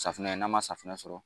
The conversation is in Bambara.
Safinɛ n'a man safinɛ sɔrɔ